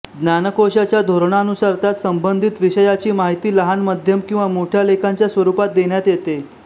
ज्ञानकोशाच्या धोरणानुसार त्यात संबंधित विषयाची माहिती लहान मध्यम किंवा मोठ्या लेखांच्या स्वरूपात देण्यात येते